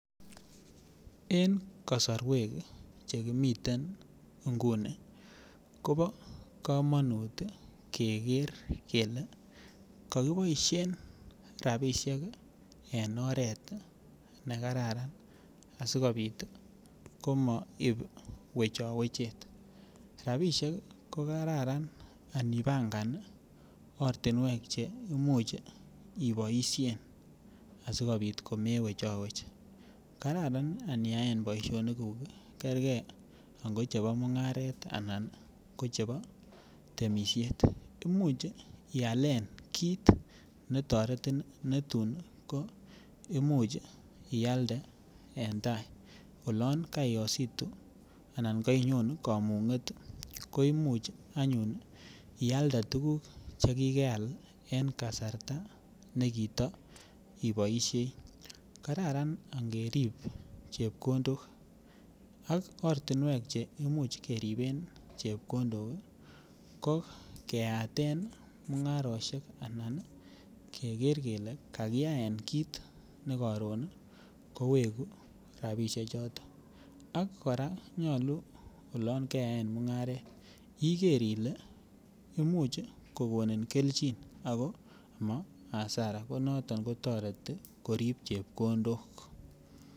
En kasarwek Che kimiten nguni kobo kamanut keger kele ko kiboisien rabisiek en oret ne kararan asikobit komoib wechowechet rabisiek ko Kararan anipangan ortinwek Che Imuch iboisien asikobit komewechowech kararan Ani yaen boisioniguk kerge angot chebo mungaret anan ko chebo temisiet Imuch ialen kit netoretin netun ko Imuch ialde en tai olon kaiyositu Alan oloon kain yon kamunget ialde tuguk Che kikeal en kasarta nekita iboisiei kararan angerib chepkondok ak ortinwek Che Imuch keriben chepkondok ii ko keaten mungarosiek anan keker kele kakiyaen kit ne koron kowegu rabisiechoto ak kora nyolu olon keyaen mungaret iger ile Imuch kogonin kelchin ako ma hasara ko noton ko toreti korib chepkondok